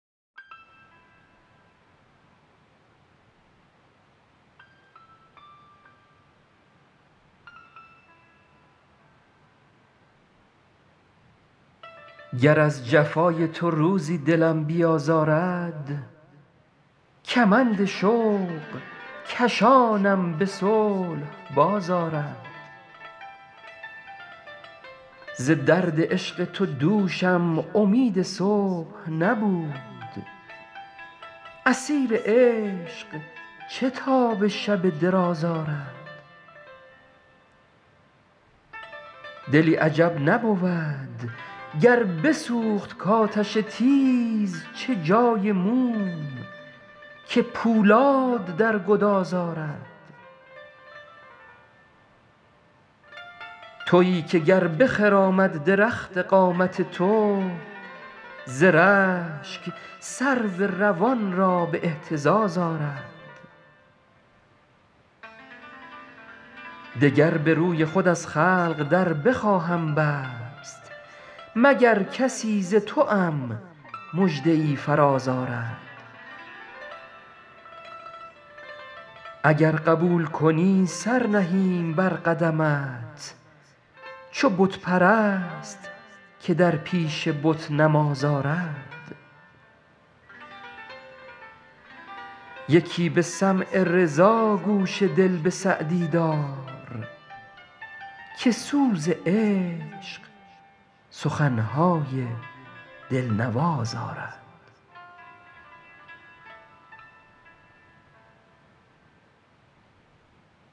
گر از جفای تو روزی دلم بیازارد کمند شوق کشانم به صلح باز آرد ز درد عشق تو دوشم امید صبح نبود اسیر عشق چه تاب شب دراز آرد دلی عجب نبود گر بسوخت کآتش تیز چه جای موم که پولاد در گداز آرد تویی که گر بخرامد درخت قامت تو ز رشک سرو روان را به اهتزاز آرد دگر به روی خود از خلق در بخواهم بست مگر کسی ز توام مژده ای فراز آرد اگر قبول کنی سر نهیم بر قدمت چو بت پرست که در پیش بت نماز آرد یکی به سمع رضا گوش دل به سعدی دار که سوز عشق سخن های دل نواز آرد